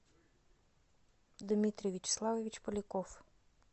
дмитрий вячеславович поляков